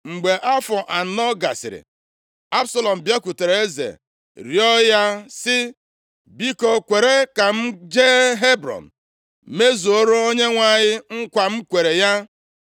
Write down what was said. Mgbe afọ anọ gasịrị, Absalọm bịakwutere eze rịọọ ya sị, “Biko kwere ka m jee Hebrọn mezuoro Onyenwe anyị nkwa m kwere ya.